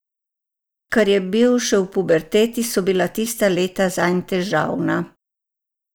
Ker je bil še v puberteti, so bila tista leta zanj težavna.